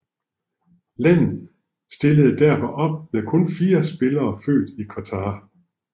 Landet stillede derfor op med kun fire spillere født i Qatar